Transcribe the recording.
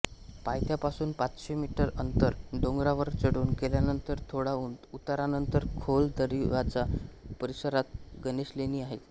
पायथ्यापासून पाचशे मीटर अंतर डोंगरावर चढून गेल्यानंतर थोड्या उतारानंतर खोल दरीवजा परिसरात गणेशलेणी आहेत